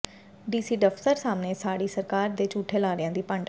DC ਦਫ਼ਤਰ ਸਾਹਮਣੇ ਸਾੜੀ ਸਰਕਾਰ ਦੇ ਝੂਠੇ ਲਾਰਿਆਂ ਦੀ ਪੰਡ